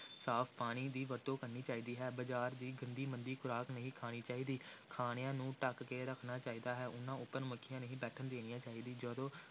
ਸਾਫ਼ ਪਾਣੀ ਦੀ ਵਰਤੋਂ ਕਰਨੀ ਚਾਹੀਦੀ ਹੈ, ਬਾਜ਼ਾਰ ਦੀ ਗੰਦੀ ਮੰਦੀ ਖ਼ੁਰਾਕ ਨਹੀਂ ਖਾਣੀ ਚਾਹੀਦੀ, ਖਾਣਿਆਂ ਨੂੰ ਢੱਕ ਕੇ ਰੱਖਣਾ ਚਾਹੀਦਾ ਹੈ, ਉਨ੍ਹਾਂ ਉੱਪਰ ਮੱਖੀਆਂ ਨਹੀਂ ਬੈਠਣ ਦੇਣੀਆਂ ਚਾਹੀਦੀਆਂ, ਜਦੋਂ